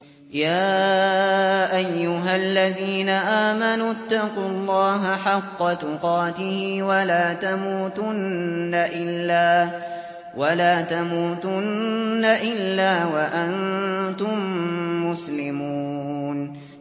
يَا أَيُّهَا الَّذِينَ آمَنُوا اتَّقُوا اللَّهَ حَقَّ تُقَاتِهِ وَلَا تَمُوتُنَّ إِلَّا وَأَنتُم مُّسْلِمُونَ